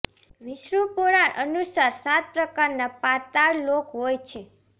વિષ્ણુ પુરાણ અનુસાર સાત પ્રકારના પાતાળ લોક હોય છે